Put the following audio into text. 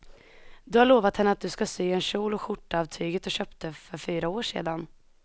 Du har lovat henne att du ska sy en kjol och skjorta av tyget du köpte för fyra år sedan.